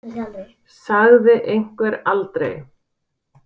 Sagði einhver aldrei?